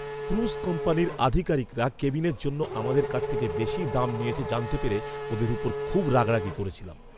Cruise কোম্পানির আধিকারিকরা কেবিনের জন্য আমাদের কাছ থেকে বেশি দাম নিয়েছে জানতে পেরে ওদের ওপর খুব রাগারাগি করেছিলাম।